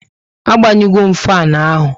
A gbanyu go m fanu ahụ